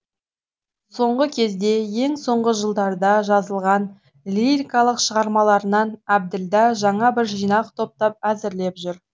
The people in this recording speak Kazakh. соңғы кезде ең соңғы жылдарда жазылған лирикалық шығармаларынан әбділда жаңа бір жинақ топтап әзірлеп жүр